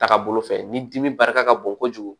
Taga bolo fɛ ni dimi barika ka bon kojugu